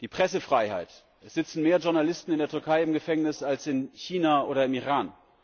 Die Pressefreiheit es sitzen mehr Journalisten in der Türkei im Gefängnis als in China oder im Iran.